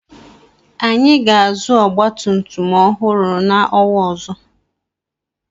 Anyị ga-azụ ọgbatumtum ọhụrụ n'ọnwa ọzọ.